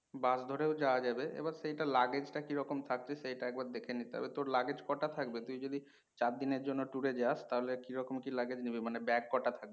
বাস ধরেও যাওয়া যাবে। এবার সেইটা টা luggage টা কিরকম থাকবে সেইটা একবার দেখে নিতে হবে। তোর কটা থাকবে? তুই যদি চারদিনের জন্য tour এ যাস তাহলে কিরকম কি নিবি মানে ব্যাগ কটা থাকবে?